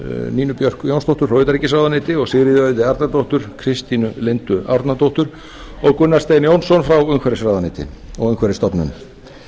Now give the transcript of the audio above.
nínu björk jónsdóttur frá utanríkisráðuneyti og sigríði auði arnardóttur kristínu lindu árnadóttur og gunnar stein jónsson frá umhverfisráðuneyti og umhverfisstofnun